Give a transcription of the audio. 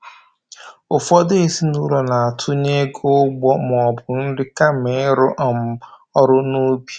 Ụfọdụ ezinụlọ na-atụnye ego ụgbọ maọbụ nri kama ịrụ um ọrụ n'ubi